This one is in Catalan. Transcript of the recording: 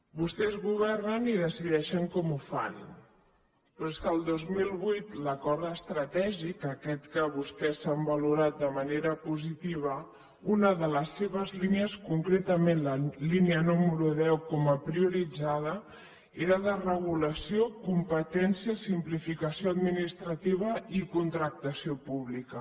vostès governen i decideixen com ho fan però és que el dos mil vuit l’acord estratègic aquest que vostès han valorat de manera positiva una de les seves línies concretament la línia número deu com a prioritzada era de regulació competències simplificació administrativa i contractació pública